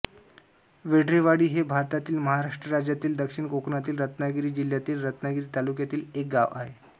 वेडरेवाडी हे भारतातील महाराष्ट्र राज्यातील दक्षिण कोकणातील रत्नागिरी जिल्ह्यातील रत्नागिरी तालुक्यातील एक गाव आहे